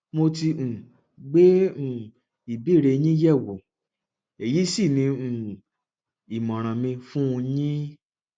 mo ti um gbé um ìbéèrè yín yẹ wò èyí sì ní um ìmọràn mi fún un yin